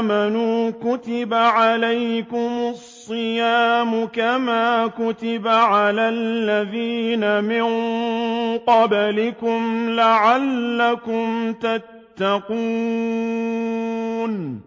آمَنُوا كُتِبَ عَلَيْكُمُ الصِّيَامُ كَمَا كُتِبَ عَلَى الَّذِينَ مِن قَبْلِكُمْ لَعَلَّكُمْ تَتَّقُونَ